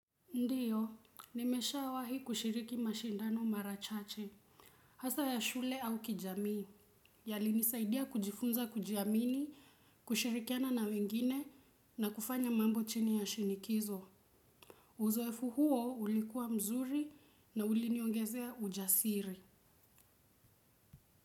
Ndiyo nimeshawahi kushiriki mashindano marachache hasa ya shule au kijamii yali nisaidia kujifunza kujiamini kushirikiana na wengine na kufanya mambo chini ya shinikizo uzoefu huo ulikuwa mzuri na uliniongezea ujasiri.